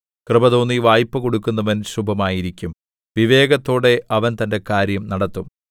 കൃപ തോന്നി വായ്പകൊടുക്കുന്നവൻ ശുഭമായിരിക്കും വിവേകത്തോടെ അവൻ തന്റെ കാര്യം നടത്തും